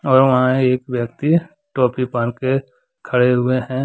और वहां एक व्यक्ति टोपी पहन के खड़े हुए हैं।